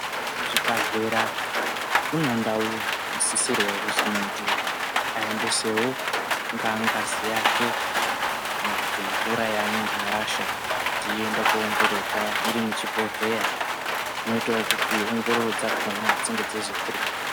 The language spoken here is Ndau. Muzvibhedhlera munewo ndao dzinosisirwa kuzi muntu aendesewo ngazi yake kana kuti mvura yaanenge arasha kuti iende kunoongororwa irimuchibheledhlera inoitawo kuti ongororo dzakona dzinge dzeizokurumidza .